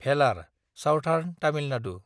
Vellore (southern Tamil Nadu)